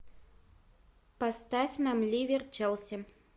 поставь нам ливер челси